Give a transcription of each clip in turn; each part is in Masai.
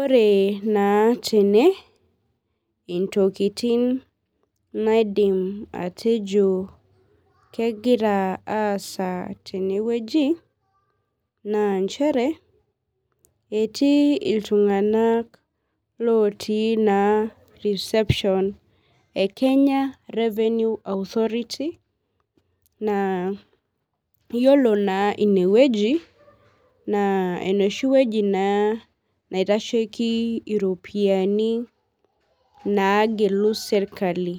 Ore naa tene intokitin naidim atejo kegira aasa tenewueji na nachere etii ltunganak otii reception e kenya revenue authority iyolo na inewueji na enoshiwueji naitashieki ropiyani eserkali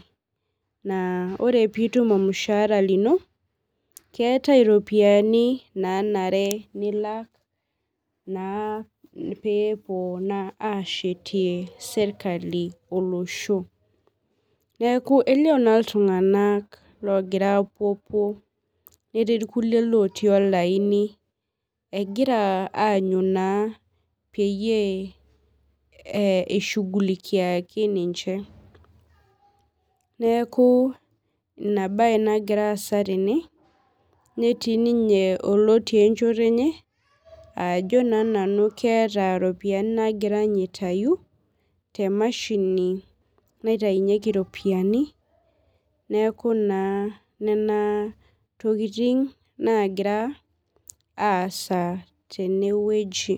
aa ore pitum iropiyiani keetae iropiyiani nanare nilak pepuo ashetie serkali olosho neaku elio ma ltunganak ogira apuopuo agira aany peyieishugulikiaki ninche neaku inabae nagira aasa tene netii oloti enchoto enye ajo keeta ropiyani nagira aitau temashini naitaunyeki ropiyani neaku nona tokitin nagira aasa tenewueji